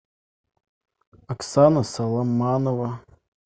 оксана саломанова